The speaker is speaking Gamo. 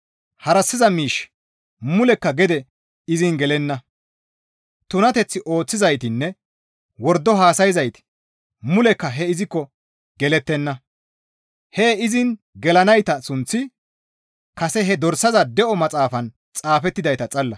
Harassiza miishshi mulekka gede izin gelenna; tunateth ooththizaytinne wordo haasayzayti mulekka hee izikko gelettenna; hee izin gelanayta sunththi kase he dorsaza de7o maxaafan xaafettidayta xalla.